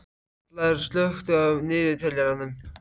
Vallaður, slökktu á niðurteljaranum.